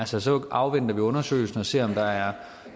så så afventer vi undersøgelsen og ser om der er